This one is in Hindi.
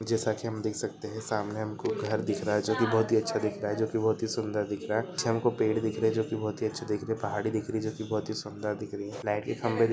जैसा की हम देख सकते है सामने हमको घर दिख रहा है जो की बहुत अच्छा दिख रहा है जो की बहुत ही सुंदर दिख रहा है पेड़ दिख रहे है जो की बहुत ही अच्छे दिख रहे है पहाड़ी दिख रही है जो की सुंदर दिख रही है लाइट के खंबे--